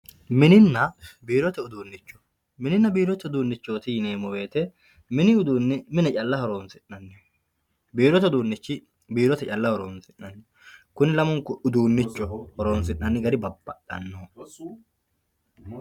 mininna biirote uduunnicho mininna biirote uduunnichooti yineemmo wote mini uduunni mine calla horonsi'naniha, biirote uduunnichi biirote calla horonsi'nanniho kuni lamunku uduunnichoho horonsi'nani gari babbaxanno.